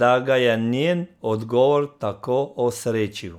da ga je njen odgovor tako osrečil.